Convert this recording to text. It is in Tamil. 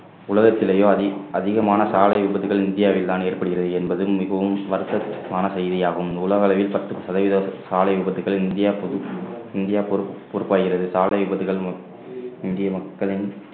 உலகத்திலேயே அதிக~ அதிகமான சாலை விபத்துகள் இந்தியாவில்தான் ஏற்படுகிறது என்பது மிகவும் வருத்தமான செய்தியாகும் உலக அளவில் பத்து சதவீத சாலை விபத்துகளில் இந்தியா பொது இந்தியா பொறுப்பாகிறது சாலை விபத்துகள் இந்திய மக்களின்